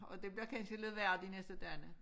Og det bliver kansje lidt værre de næste dagene'